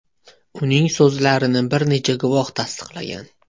Uning so‘zlarini bir necha guvoh tasdiqlagan.